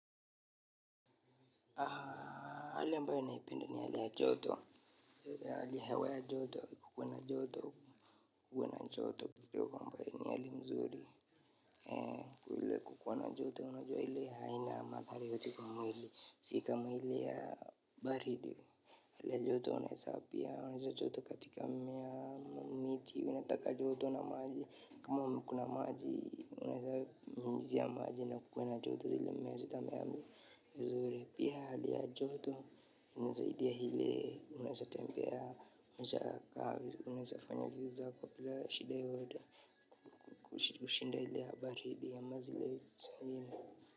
Hali ambayo naipenda ni hali ya joto hiyo ni hali ya hewa ya joto kukuwe na joto kuwe na joto kidogo ambayo ni hali mzuri. Ile kukuwa na joto unajua ile haina madhara yoyote kwa mwili si kama ile ya baridi hali ya joto unaweza pia onyesha joto katika mmea ama miti unataka joto na maji kama kuna maji unaweza nyunyizia maji kukiwa na joto zile mmea zitamea vizuri pia hali ya joto inasaidia ile unaweza tembea unaweza fanya vitu zako bila shida yoyote kushinda ile ya baridi ama zile zingine.